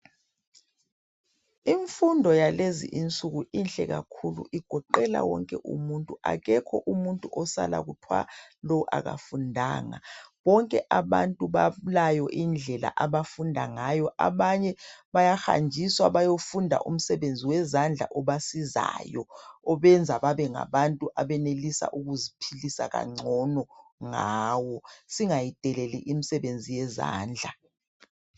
Imfundo yalezi insuku inhle kakhulu igoqela wonke umuntu akekho umuntu osala kuthwa lo akafundanga, bonke abantu balayo indlela abafunda ngayo. Abanye bayahanjiswa bayofunda umsebenzi wezandla obasizayo obenza babengabantu abenelisa ukuziphilisa kangcono ngawo. Singayideleli imisebenzi yezandla.